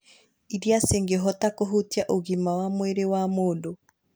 irĩa cingĩhota kũhutia ũgima wa mwĩrĩ wa mũndũ.